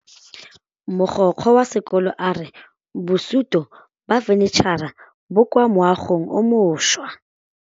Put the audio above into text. Mogokgo wa sekolo a re bosutô ba fanitšhara bo kwa moagong o mošwa.